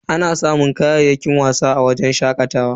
Ana samun kayayyakin wasa a wajen shakatawa.